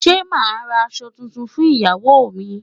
Ṣé màá ra aṣọ tuntun fún Ìyáwó mi.